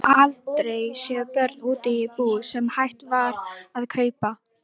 Ég hafði aldrei séð börn úti í búð sem hægt var að kaupa.